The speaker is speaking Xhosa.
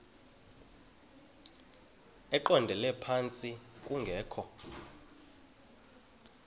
eqondele phantsi kungekho